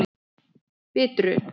Bitru